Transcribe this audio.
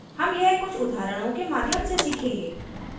हम यह कुछ उदाहरणों के माध्यम से सीखेंगे